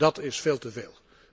Dat is veel te veel.